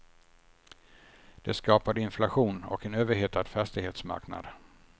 Det skapade inflation och en överhettad fastighetsmarknad.